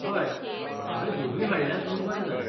हय, हांवें दोनूय हाडल्यांत म्हूण बरें जालें.